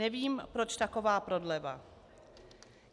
Nevím, proč taková prodleva.